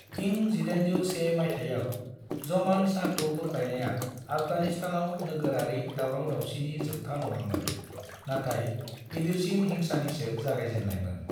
इं 1801 माइथायाव ज़मान शाहखौ बोख्लायनाया आफगानिस्तानाव नोगोरारि दावराव-दाव्शिनि जोबथा नङामोन, नाथाइ गिदिरसिन हिंसानिसो जागायजेननायमोन।